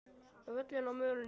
Völin á mölinni